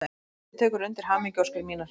Þórhildur tekur undir hamingjuóskir mínar.